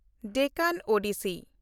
Deccan Odyssey